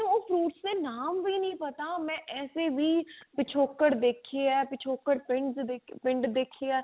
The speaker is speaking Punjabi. fruits ਦੇ ਨਾਮ ਵੀ ਨਹੀਂ ਪਤਾ ਮੈਂ ਐਸੇ ਵੀ ਪਿਛੋਕੜ ਦੇਖੇ ਆ ਪਿਛੋਕੜ ਪਿੰਡ ਸ ਪਿੰਡ ਦੇਖੇ ਆ